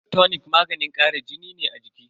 Blood tonic maganin kara jini ne a jiki.